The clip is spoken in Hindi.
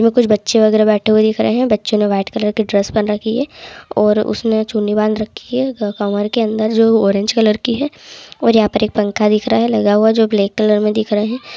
इसमें कुछ बच्चे वगैरह बैठे हुए दिख रहे है बच्चों ने व्हाइट कलर की ड्रेस पहेन रखी है और उसने चुन्नी बांध रखि हे कमर के अंदर जो ऑरेंज कलर की है और यहां पर एक पंखा दिख रहा है लगा हुआ जो ब्लैक कलर में दिख रहे है।